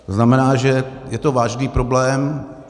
To znamená, že to je vážný problém.